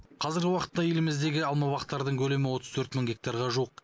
қазіргі уақытта еліміздегі алмабақтардың көлемі отыз төрт мың гектарға жуық